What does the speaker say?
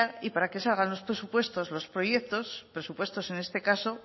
y para que salgan los presupuestos los proyectos presupuestos en este caso